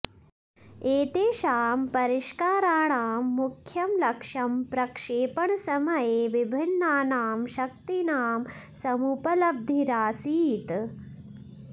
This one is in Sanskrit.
एतेषां परिष्काराणां मुख्यं लक्ष्यं प्रक्षेपणसमये विभिन्नानां शक्तीनां समुपलब्धिरासीत्